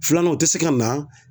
Filanan o tɛ se ka na.